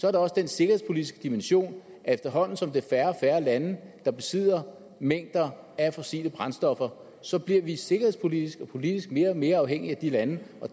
er der også den sikkerhedspolitiske dimension at efterhånden som det er færre og færre lande der besidder mængder af fossile brændstoffer så bliver vi sikkerhedspolitisk og politisk mere og mere afhængige af de lande